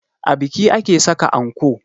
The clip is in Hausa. A biki ake saka anko